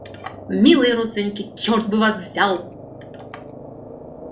милые родственники чёрт бы вас взял